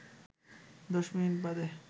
১০ minute বাদে